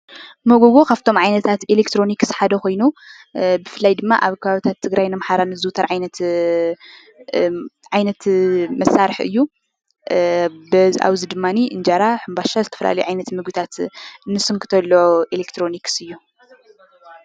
መጎጎ ካብቶም ዓይነታት ኤሌክትሮኒክስ ሓደ ኮይኑ ብፍላይ ድማ ኣብ ከባቢታት ኣምሓራን ትግራይን ዝዝውተር ዓይነት መሳርሒ እዩ፡፡ ኣብዚ ድማ እንጀራ፣ ሕምባሻ ዝተፈላለዩ ዓይነታት ምግቢ እንስንክተሉ ኤሌክትሮኒክስ እዩ፡፡